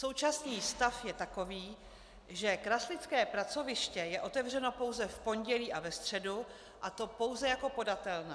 Současný stav je takový, že kraslické pracoviště je otevřeno pouze v pondělí a ve středu, a to pouze jako podatelna.